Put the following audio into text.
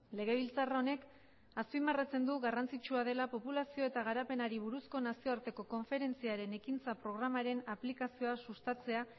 legebiltzar honek azpimarratzen du garrantzitsua dela populazio eta garapenari buruzko nazioarteko konferentziaren ekintza programaren aplikazioa sustatzea